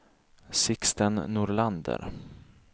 Sixten Nordlander